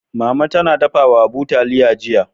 Mama ta dafa wa Habu taliya jiya.